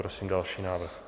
Prosím další návrh.